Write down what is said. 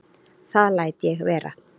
Það læt ég vera